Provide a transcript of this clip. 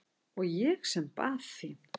Og ég sem bað þín!